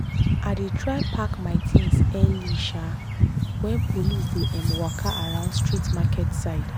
i dey try pack my things early um when police dey um waka around street market side.